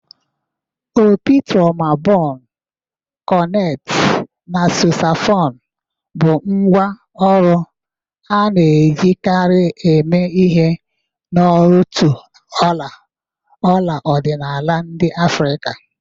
Opi, trumubonu, korneti, na sosafonu bụ ngwá ọrụ a na-ejikarị eme ihe n'òtù ọla ọla ọdịnala ndị Afrika.